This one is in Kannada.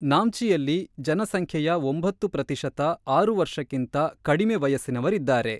ನಾಮ್ಚಿಯಲ್ಲಿ, ಜನಸಂಖ್ಯೆಯ ಒಂಬತ್ತು ಪ್ರತಿಶತ ಆರು ವರ್ಷಕ್ಕಿಂತ ಕಡಿಮೆ ವಯಸ್ಸಿನವರಿದ್ದಾರೆ.